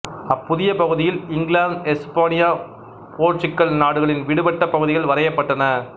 அப்புதிய பகுதியில் இங்கிலாந்து எசுப்பானியா போர்த்துகல் நாடுகளின் விடுபட்ட பகுதிகள் வரையப்பட்டன